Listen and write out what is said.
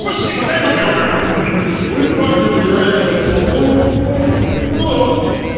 о сим алекум ой блять нихуя я сейчас пукну ту ду ду ду дут